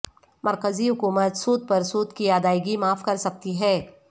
مرکزی حکومت سود پر سود کی ادائیگی معاف کرسکتی ہے